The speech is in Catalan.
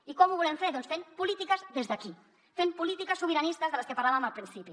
i com ho volem fer doncs fent polítiques des d’aquí fent polítiques sobiranistes de les que parlàvem al principi